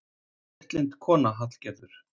Léttlynd kona, Hallgerður.